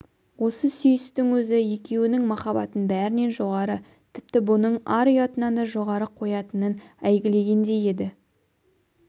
осы сүйістің өзі екеуінің махаббатын бәрінен жоғары тіпті бұның ар-ұятынан да жоғары қоятынын әйгілегендей еді